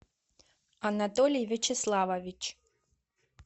анатолий вячеславович